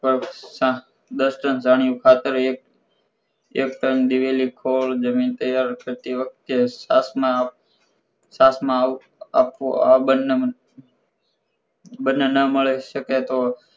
પાક ના દસ ટન છાણિયું ખાતર એક એક ટન દિવેલી ખોડ જમીન તૈયાર થતી વખતે સાથમાં સાથમાં આપવું આ બંને ના મળી સકે તો